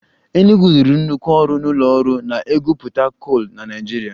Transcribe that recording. Enugwu rụrụ nnukwu ọrụ n'ụlọ ọrụ na-egwupụta kol na Naịjirịa